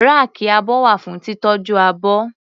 Ráàkì abọ́ wà fún títọ́jú abọ́.